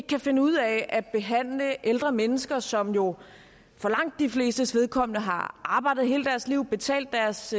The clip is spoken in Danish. kan finde ud af at behandle ældre mennesker som jo for langt de flestes vedkommende har arbejdet hele deres liv og betalt deres